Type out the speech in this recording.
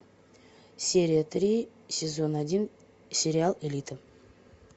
серия три сезон один сериал элита